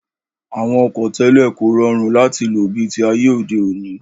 Àwọn ọkọ̀ tẹ́lẹ̀ kò rọrùn láti lò bi ti ayé òde òní